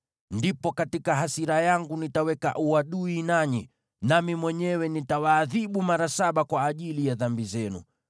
ndipo katika hasira yangu nitaweka uadui nanyi, nami mwenyewe nitawaadhibu mara saba kwa ajili ya dhambi zenu.